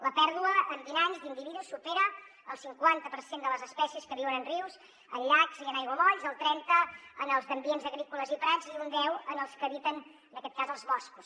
la pèrdua en vint anys d’individus supera el cinquanta per cent de les espècies que viuen en rius en llacs i en aiguamolls el trenta en els d’ambients agrícoles i prats i un deu en els que habiten en aquest cas als boscos